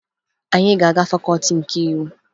Anyị ga-aga Fakọọti nke Iwu